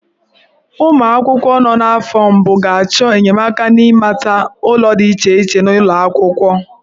Ụmụ akwụkwọ nọ n'afọ mbụ ga-achọ enyemaka n'ịmata ụlọ dị iche iche n'ụlọ akwụkwọ.